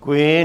Děkuji.